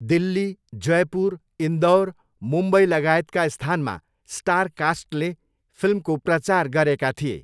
दिल्ली, जयपुर, इन्दौर, मुम्बई लगायतका स्थानमा स्टारकास्टले फिल्मको प्रचार गरेका थिए।